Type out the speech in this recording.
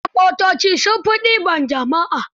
Manyan motoci sun fi ɗiban jama'a